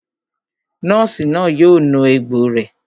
Nọ́ọ̀sì náà yóò nu egbò rẹ̀